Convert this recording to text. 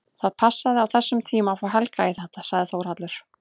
Það passaði á þessum tíma að fá Helga í þetta, sagði Þórhallur.